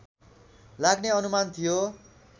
लाग्ने अनुमान थियो